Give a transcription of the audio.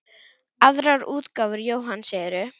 Aðrar útgáfur Jóhanns eru